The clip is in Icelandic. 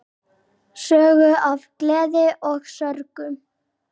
Sögur af gleði og sorgum.